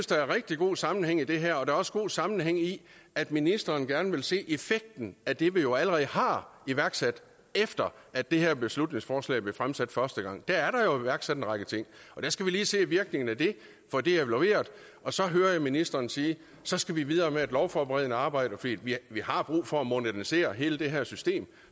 der er rigtig god sammenhæng i det her og der er også god sammenhæng i at ministeren gerne vil se effekten af det vi jo allerede har iværksat efter at det her beslutningsforslag blev fremsat første gang er der jo iværksat en række ting og der skal vi lige se virkningen af det få det evalueret og så hører jeg ministeren sige at så skal vi videre med det lovforberedende arbejde fordi vi har brug for at modernisere hele det her system